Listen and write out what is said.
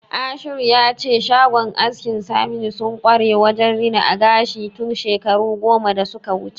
Ashiru ya ce shagon askin Saminu sun kware wajen rina gashi tun shekaru goma da suka wuce.